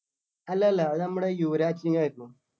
അല്ലല്ല അത് നമ്മുടെ യുവരാജ് സിങ്ങ് ആയിരുന്നു